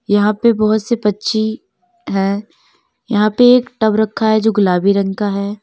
यहां पे बहुत से पंछी हैं यहां पे एक टब रखा है जो गुलाबी रंग का है।